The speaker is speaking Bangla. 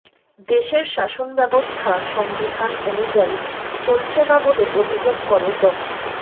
দেশের শাসনব্যবস্থা সংবিধান অনুযায়ী চলছে না বলে অভিযোগ করে ড